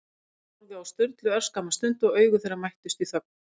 Fanný horfði á Sturlu örskamma stund, og augu þeirra mættust í þögn.